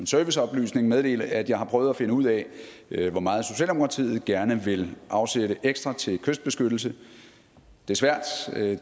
serviceoplysning meddele at jeg har prøvet at finde ud af hvor meget socialdemokratiet gerne vil afsætte ekstra til kystbeskyttelse det er svært